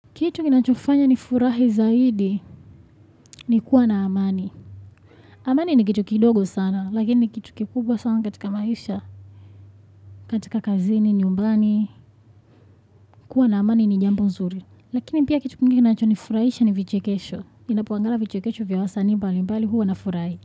Kitu kinachofanya nifurahi zaidi ni kuwa na amani. Amani ni kitu kidogo sana, lakini ni kitu kikubwa sana katika maisha, katika kazini, nyumbani, kuwa na amani ni jambo nzuri. Lakini pia kitu kingine kinachonifurahisha ni vichekesho. Ninapoangalia vichekesho vya wasanii mbali mbali huwa nafurahi.